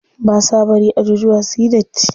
Ba sa bari ajujuwa suyi datti.